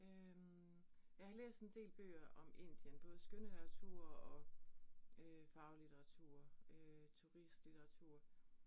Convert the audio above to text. Øh jeg har læst en del bøger om Indien, både skønlitteratur og øh faglitteratur øh turistlitteratur